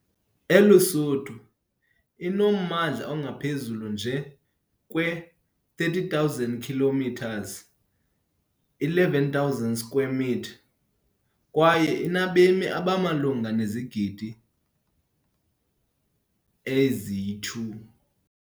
ELuSuthu inommandla ongaphezu nje kwe-30,000 km2, 11,600 sq mi, kwaye inabemi abamalunga nezigidi ezi-2.